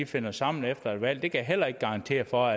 finder sammen efter et valg kan jeg heller ikke garantere for